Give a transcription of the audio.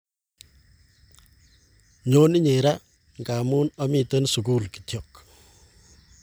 nyoon inye raa ngamun amiten sukul kityok.